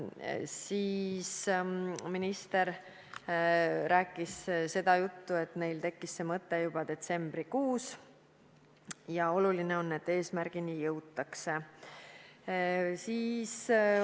Siis minister rääkis seda juttu, et neil tekkis see mõte juba detsembrikuus ja oluline on, et jõutakse eesmärgile.